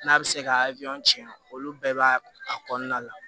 N'a bɛ se ka tiɲɛ olu bɛɛ b'a a kɔnɔna la